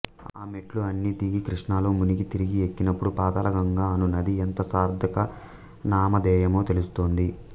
ఆ మెట్లు అన్నీ దిగి కృష్ణలో మునిగి తిరిగి ఎక్కినపుడు పాతాళగంగ అనునది ఎంత సార్థక నామధేయమో తెలుస్తుంది